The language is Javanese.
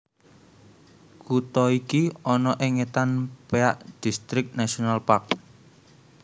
Kutha iki ana ing étan Peak District National Park